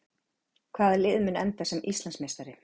Hvaða lið mun enda sem Íslandsmeistari?